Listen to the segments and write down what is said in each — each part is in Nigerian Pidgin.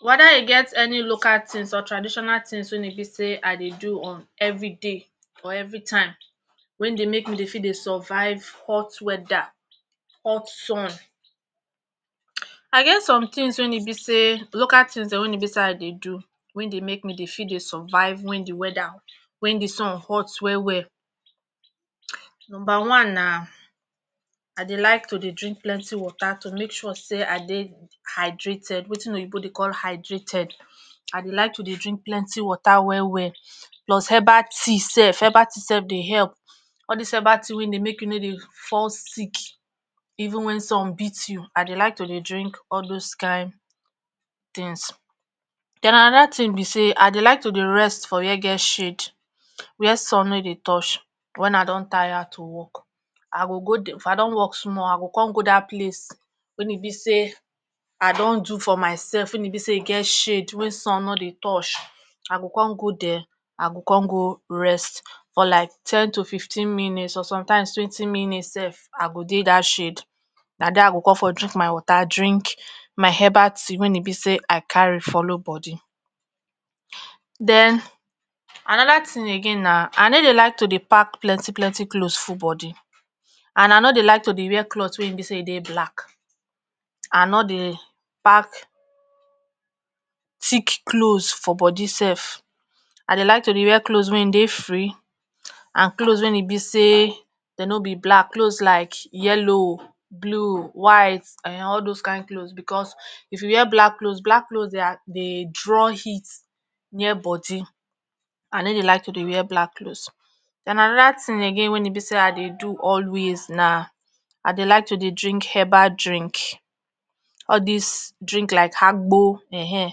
weda e get any local tins or transditional tins wey e be say i dey do on everi day for everi time wen dey make me dey fit dey survive hot wedda hot sun i get some tins wey e be say local tins wey e bi say i dey do wey de make me dey fit dey survive wen di wedda wen di sun hut well well numba one na i dey like to dey drink plenty water tu make sure say i dey hydrated watin oyibo dey call hydrated ah like to dey drink plenty water well well plus embal tea sef embal tea sef dey help all dis embal tea wey dey make you no dey fall sick even wen sun beat you i deylike to dey drink all doz kain tins. den anoda tin be say i dey liketu dey rest for where get shade where sun ne dey touch wen i don tire to work, i go go dey if i don work small igo con go dat place wen e be say i don do for mysef wen e be say e get shade wey sun no dey touch, i go con go dere i go con go rest for like ten to fifteen minits or sometimes twenty minits sef i go dey dat shade na de i con fro drink my water drink mt embal tea wen e be say i carry folloe bodi. den anoda tin again na i ne dey like to dey pack plenty plenty cloz ful bodi n i no dey like to dey wear clot ey e be say dey black, i no deyy pack tick cloz for bodi sef i dey like to dey wear cloz wey dey free ah cloz wey e be say den no be black, cloz like yellow, blue, white[um]ehn all doz kain cloz bcos if you wear black cloz black cloz dey ah dey draw heat near bodi ne dey like to dey wear black.den anoda tin again wey e be say i dey do always na i dey like tu dey drink embal drink all dis drink like agbo[um]ehn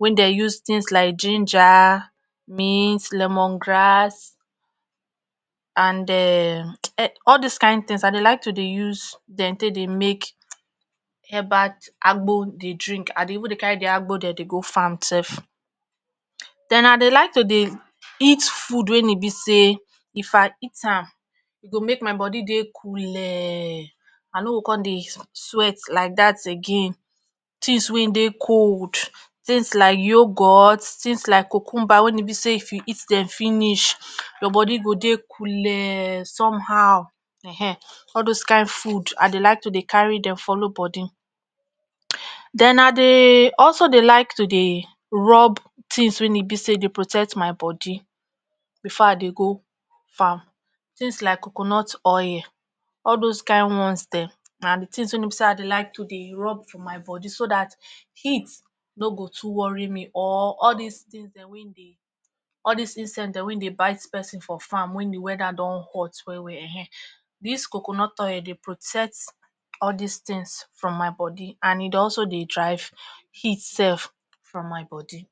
wey den use tins like ginger, mint, lemon grass and um um all dis kain tins i dey like to dey use dem take dey make emabal t agbo dey drink, i dey even dey carry di agbo ddem dey go farm sef. i dey like to dey eat food wen e be say if i eat am e go make my body dey kule i no o con dey sweat like that again tins wey dey col, tins like youghourt, tin like cucuber wey e be say if you eat dem finish your bodi go dey kule some how[um]ehn all doz kain food i dey like to dey carry dem folow bodi. den i dey also dey like to dey rub tins wey e be say dey protet my bodi bfor i dey go farm tin like coconut oil all doz kain ones dem na di tins no be say i dey like tu dey rub for my bodi so dat heat no go too worry me or all dis tins dem wey dey all dis inset ddem wey dey bite persin and wen di weda don hot well well[um]ehn dis coconut oil dey protet all dis tins from my bodi and e dey also dey dry heat sef from my bodi